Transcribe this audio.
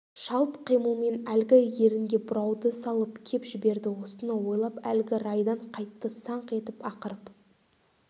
шалт қимылмен әлгі ерінге бұрауды салып кеп жіберді осыны ойлап әлгі райдан қайтты саңқ етіп ақырып